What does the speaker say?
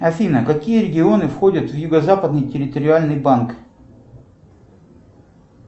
афина какие регионы входят в юго западный территориальный банк